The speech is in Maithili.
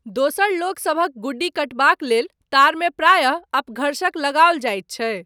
दोसर लोकसभक गुड्डी कटबाक लेल तारमे प्रायः अपघर्षक लगाओल जाइत छै।